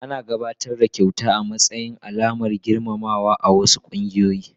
Ana gabatar da kyauta a matsayin alamar girmamawa a wasu kungiyoyi.